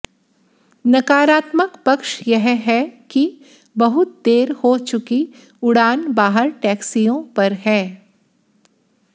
नकारात्मक पक्ष यह है कि बहुत देर हो चुकी उड़ान बाहर टैक्सियों पर है